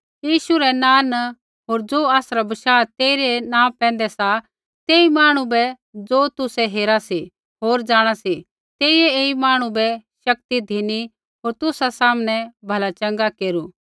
यीशु रै नाँ न होर ज़ो आसरा बशाह तेइरै नाँ पैंधै सा ऐई मांहणु बै ज़ो तुसै हेरा सी होर जाँणा सी तेइयै ऐई मांहणु बै शक्ति धिनी होर तुसा सामनै भला चँगा केरू